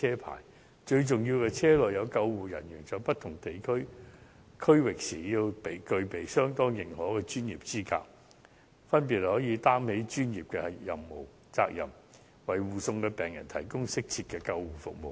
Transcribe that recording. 而最重要的是，車輛駛經不同區域時，要有具備當地認可專業資格的救護人員，可以擔起專業責任，為護送的病人提供適切的救護服務。